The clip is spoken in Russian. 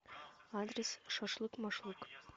адрес шашлык машлык